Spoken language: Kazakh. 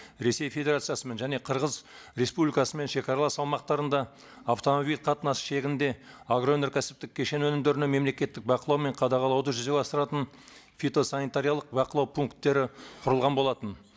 ресей федерациясымен және қырғыз республикасымен шегаралас аумақтарында автомобиль қатынасы шегінде агроөнеркәсіптік кешен өнімдерінің мемлекеттік бақылау мен қадағалауды жүзеге асыратын фитосанитариялық бақылау пункттері құрылған болатын